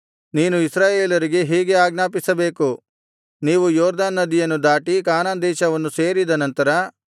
ನೀನು ಇಸ್ರಾಯೇಲರಿಗೆ ಹೀಗೆ ಆಜ್ಞಾಪಿಸಬೇಕು ನೀವು ಯೊರ್ದನ್ ನದಿಯನ್ನು ದಾಟಿ ಕಾನಾನ್ ದೇಶವನ್ನು ಸೇರಿದ ನಂತರ